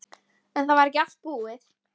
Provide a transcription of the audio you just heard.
Svo sjáum við til hvað gerist.